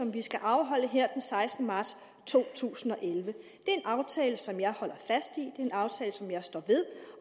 vi skal afholde her den sekstende marts to tusind og elleve det er en aftale som jeg holder fast i det er en aftale som jeg står ved